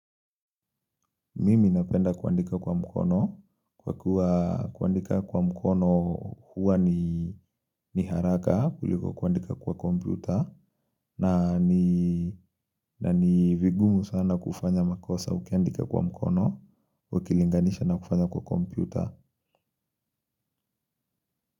Mimi napenda kuandika kwa mkono kwa kuwa kuandika kwa mkono huwa ni ni haraka kuliko kuandika kwa kompyuta na ni na ni vigumu sana kufanya makosa ukiandika kwa mkono ukilinganisha na kufanya kwa kompyuta.